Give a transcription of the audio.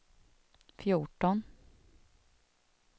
fjorton